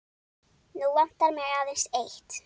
Nú vantar mig aðeins eitt!